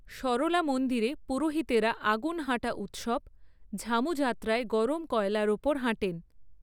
সরলা মন্দিরে, পুরোহিতেরা আগুন হাঁটা উৎসব, ঝামু যাত্রায় গরম কয়লার ওপর হাঁটেন।